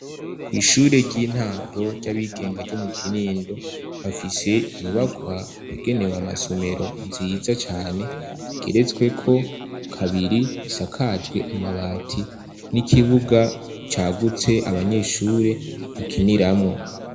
Kw'ishuri ry'intango ry'abigenga ryo mu kinindo, bafise inyubakwa yagenewe amasomero nziza cane igeretswe ko kabiri isakajwe amabati n'ikibuga cagutse abanyeshure bakiniramwo.